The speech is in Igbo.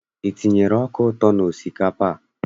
I tinyere ọka ụtọ n'osikapa a?